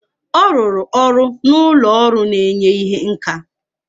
Ọ rụrụ ọrụ na ụlọ ọrụ na-enye ihe nka.